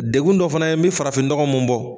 Degun dɔ fana ye n bi farafin dɔgɔw mun bɔ